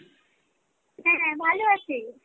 হ্যাঁ হ্যাঁ ভালো আছি।